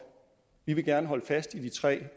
vi vil gerne holde fast i de tre